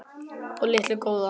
og litu góða.